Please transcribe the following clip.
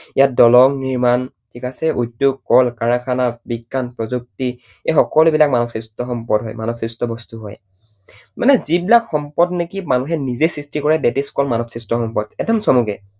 ইয়াত দলং নিৰ্মাণ, ঠিক আছে? উদ্যোগ, কল কাৰখানা, বিজ্ঞান, প্ৰযুক্তি এই সকলো বিলাক মানৱ সৃষ্ট সম্পদ হয়। মানৱ সৃষ্ট বস্তু হয়। মানে যিবিলাক সম্পদ নেকি মানুহে নিজেই সৃষ্টি কৰে that is called মানৱ সৃষ্ট সম্পদ, একদম চমুকৈ।